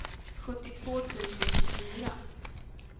sjuttiotvå tusen tjugofyra